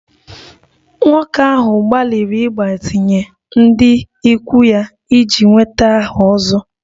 Nwoke ahụ gbalịrị ịgbazinye ndị ikwu ya iji nweta aha 'ozo'